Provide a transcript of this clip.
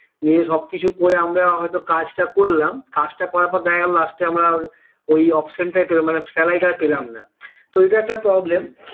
নিজে সবকিছু করে আমরা হয়তো কাজটা করলাম কাজটা করার পর দেখা গেলো last এ আমরা ওই option টাই পেলাম মানে salary টা আর পেলাম না তো এটা একটা problem